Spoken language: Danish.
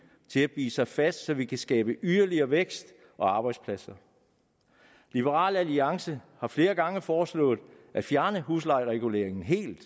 til at bide sig fast så vi kan skabe yderligere vækst og arbejdspladser liberal alliance har flere gange foreslået at fjerne huslejereguleringen helt